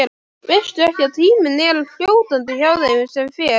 Veistu ekki að tíminn er fljótandi hjá þeim sem fer.